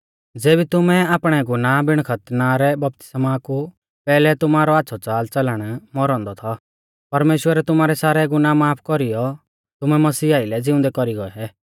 ज़ेबी तुमै आपणै गुनाह बिण खतना रै बपतिस्मा कु पैहलै तुमारौ आच़्छ़ौ च़ालच़लण मौरौ औन्दौ थौ परमेश्‍वरै तुमारै सारै गुनाह माफ कौरीयौ तुमै मसीह आइलै ज़िउंदै कौरी गौऐ